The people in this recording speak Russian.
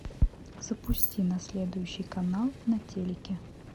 запусти на следующий канал на телике